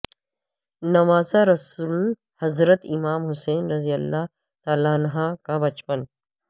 نواسہ رسول حضرت امام حسین رضی اللہ عنہ کا بچپن